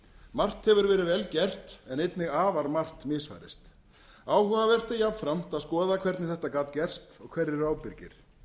margt hefur verið vel gert en einnig afar margt misfarist áhugavert er jafnframt að skoða hvernig þetta gat gerst og hverjir eru ábyrgir